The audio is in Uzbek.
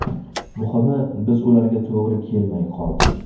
Muhimi, biz ularga to‘g‘ri kelmay qoldik.